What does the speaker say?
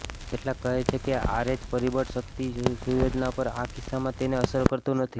કેટલાક કહે છે કે આરએચ પરિબળ શક્તિ સુયોજનો પર આ કિસ્સામાં તેને અસર કરતું નથી